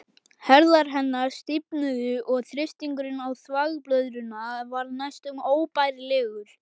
Herðar hennar stífnuðu og þrýstingurinn á þvagblöðruna varð næstum óbærilegur.